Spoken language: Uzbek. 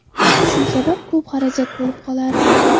Shu sabab ko‘p xarajat bo‘lib qolardi.